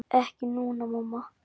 Ekki núna, mamma.